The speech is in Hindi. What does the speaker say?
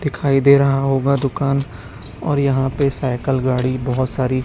दिखाई दे रहा होगा दुकान और यहां पे साइकल गाड़ी बहोत सारी--